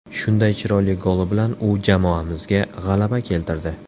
Shunday chiroyli goli bilan u jamoamizga g‘alaba keltirdi.